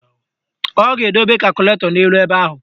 Ọ ga-edobe kakụlatọ n'elu ebe ahụ